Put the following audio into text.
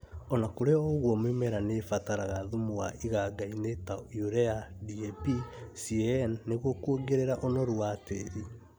Ona kũrĩ o ũguo mĩmera nĩ ĩbataraga thumu wa iganga-inĩ ta Urea, DAP, CAN nĩguo kuongerera ũnoru wa tĩri